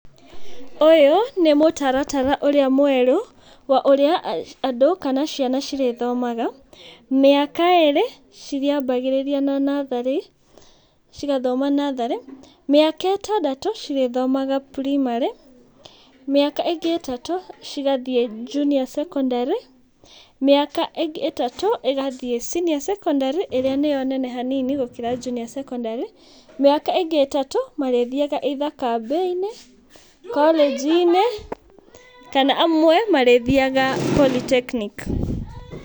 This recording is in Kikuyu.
Ũyũ, nĩ mũtarata ũrĩa mwerũ, ũrĩa andũ kana ciana cigĩthomaga. Mĩaka ĩrĩ marĩambagia na natharĩ, cigathoma natharĩ, mĩaka ĩtandatũ marĩthomaga primarĩ, mĩaka ĩngĩ tatũ igathia cs]Junior secondary, mĩaka ĩngĩ tatũ ĩgathiĩ senior secondary nĩo nene hanini gũkĩra Junior secondary mĩaka ĩngĩ tatũ marĩthiaga either kambĩ -inĩ korĩnjinĩ kana amwe marĩthiaga polytechnic